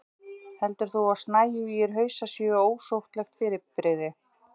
heldur þú að snæugir hausar séu óauðsóttlegt fyrirbrigði